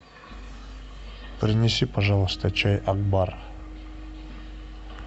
принеси пожалуйста чай акбар